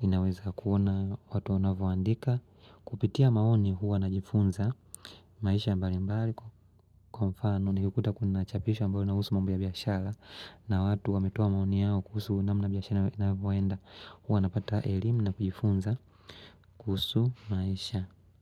inaweza kuona watu wanavoandika, kupitia maoni huwa najifunza maisha mbali mbali. Kwafano, nikikuta kunachapisho ambalo na husu mambo ya biyashara na watu wametoa maoni yao kusu unamu na biyashara inavyowaenda. Huwa napata elimu na kujifunza kuhusu maisha.